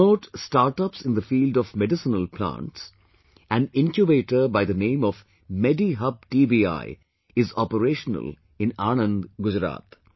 To promote startups in the field of medicinal plants, an Incubator by the name of MediHub TBI is operational in Anand, Gujarat